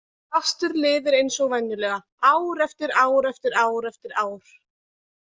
Fastir liðir eins og venjulega, ár eftir ár eftir ár eftir ár.